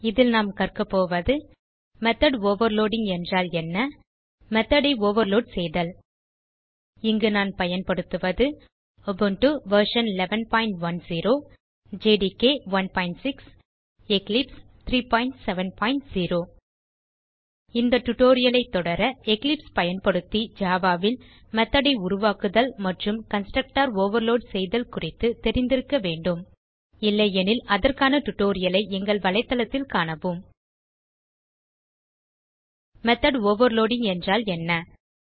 இதில் நாம் கற்கப்போவது மெத்தோட் ஓவர்லோடிங் என்றால் என்ன மெத்தோட் ஐ ஓவர்லோட் செய்தல் இங்கு நான் பயன்படுத்துவது உபுண்டு வெர்ஷன் 1110 ஜேடிகே 16 எக்லிப்ஸ் 370 இந்த டியூட்டோரியல் ஐ தொடர எக்லிப்ஸ் பயன்படுத்தி ஜாவா ல் மெத்தோட் ஐ உருவாக்குதல் மற்றும் கன்ஸ்ட்ரக்டர் ஓவர்லோட் செய்தல் குறித்து தெரிந்திருக்க வேண்டும் இல்லையெனில் அதற்கான tutorial ஐ எங்கள் வலைத்தளத்தில் காணவும் மெத்தோட் ஓவர்லோடிங் என்றால் என்ன